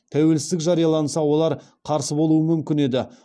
тәуелсіздік жарияланса олар қарсы болуы мүмкін еді